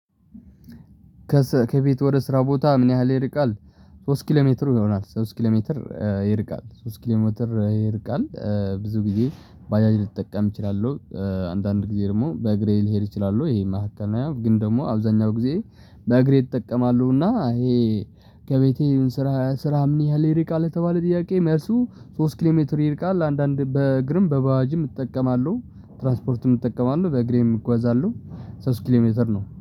ከስ ከቤት ወደ ስራ ቦታ ምን ያህል ይርቃል? ሶስት ኪሎ ሜትር ይሆናል ሶስት ኪሎ ሜትር ይርቃል ሶስት ኪሎ ሜትር ይርቃል። ብዙ ጊዜ ባጃጅ ልጠቀም እችላለሁ። አንዳንድ ጊዜ ደግሞ በእግሬ ልሄድ እችላለሁ። ይሄ መሃከል ነው። ግን ደግሞ አብዛኛው ጊዜ በእግሬ እጠቀማለሁ። እና ይሄ ከቤቴ ይሁን ስራህ ስራህ ምን ያህል ይርቃል? የተባለው ጥያቄ መልሱ ሶስት ኪሎ ሜትር ይርቃል። አንዳንድ በእግርም በባጃጅም እጠቀማለሁ ትራንስፖርትም እጠቀማለሁ በእግሬም እጓዛለሁ ሶስት ኪሎ ሜትር ነው